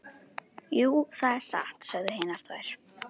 Jú, það er satt, sögðu hinar tvær.